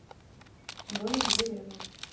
домик в деревне